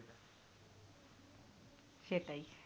সেটাই